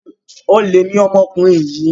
Olè ni ọmọkùnrin yìí.